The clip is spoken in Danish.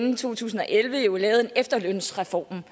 to tusind og elleve lavede en efterlønsreform